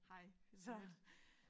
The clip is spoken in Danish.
Hej Anne Jeanette